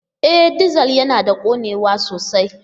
E! Dizal yana da ƙonewa sosai.